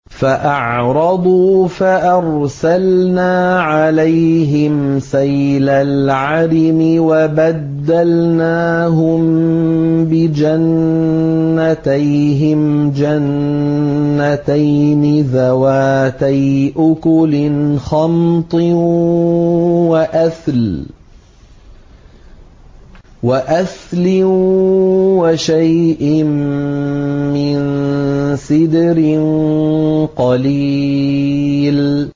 فَأَعْرَضُوا فَأَرْسَلْنَا عَلَيْهِمْ سَيْلَ الْعَرِمِ وَبَدَّلْنَاهُم بِجَنَّتَيْهِمْ جَنَّتَيْنِ ذَوَاتَيْ أُكُلٍ خَمْطٍ وَأَثْلٍ وَشَيْءٍ مِّن سِدْرٍ قَلِيلٍ